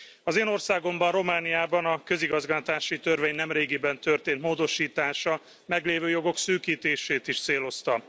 Az én országomban, Romániában, a közigazgatási törvény nemrégiben történt módosítása meglévő jogok szűkítését is célozta.